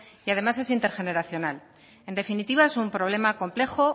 y además es intergeneracional en definitiva es un problema complejo